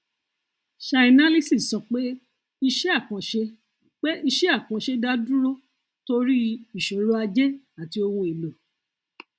chainalysis sọ pé iṣẹ àkànṣe pé iṣẹ àkànṣe dá dúró torí ìṣòro ajé àti ohun èlò